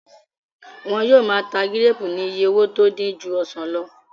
Wọ́n yóò máa ta gíréèpù ní iye owó tó dín ju ọsàn lọ